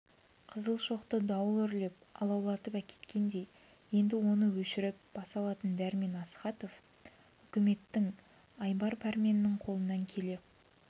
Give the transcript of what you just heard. қызыл шоқты дауыл үрлеп алаулатып әкеткендей енді оны өшіріп баса алатын дәрмен астахов үкіметінің айбар пәрменінің қолынан келе